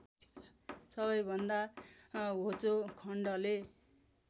सबैभन्दा होचो खण्डले